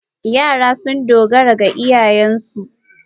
Yara sun dogara ga iyayensu